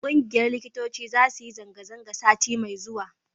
ƙungiyar likitoci za su yi zanga-zanga sati mai zuwa